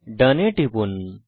ডোন এ টিপুন